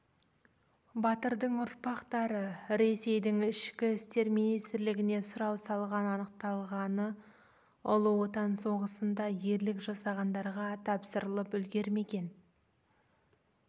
батырдың ұрпақтары ресейдің ішкі істер министрлігіне сұрау салған анықталғаны ұлы отан соғысында ерлік жасағандарға тапсырылып үлгермеген